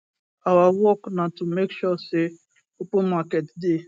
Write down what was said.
our work na to make sure say open market dey